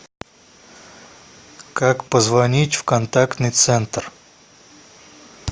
как позвонить в контактный центр